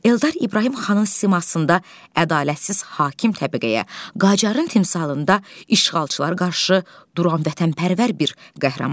Eldar İbrahim xanın simasında ədalətsiz hakim təbəqəyə, Qacarın timsalında işğalçılar qarşı duran vətənpərvər bir qəhrəmandır.